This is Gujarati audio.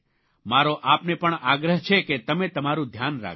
મારો આપને પણ આગ્રહ છે કે તમે તમારૂં ધ્યાન રાખજો